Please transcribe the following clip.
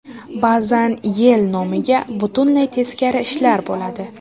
Ba’zan yil nomiga butunlay teskari ishlar bo‘ladi.